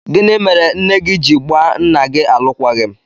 Gịnị mere nne gị ji gbaa nna gị alụkwaghịm?